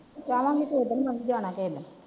ਜਾਵਾਂਗੇ ਫੇਰ ਉੱਡਣ ਜਾਣਾ ਪਾਊਗਾ।